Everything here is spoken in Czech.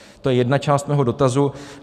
To je jedna část mého dotazu.